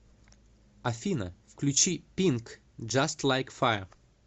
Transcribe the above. афина включи пинк джаст лайк файр